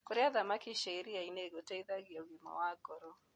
Kũrĩa thamakĩ cia ĩrĩaĩnĩ gũteĩthagĩa ũgima wa goro